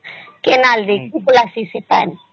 canal ଦେଇକିରି ପାଲ୍ସି ସେ ପାଣି